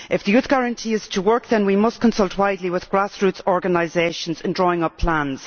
If the Youth Guarantee is to work then we must consult widely with grassroots organisations in drawing up plans.